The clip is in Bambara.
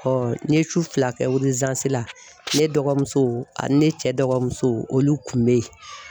n ye su fila kɛ la ne dɔgɔmuso ani ne cɛ dɔgɔmuso olu kun bɛ ye.